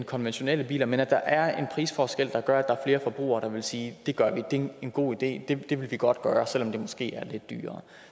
konventionelle biler men at der er en prisforskel der gør er flere forbrugere der vil sige det gør vi det er en en god idé så det vil vi godt gøre selv om det måske er lidt dyrere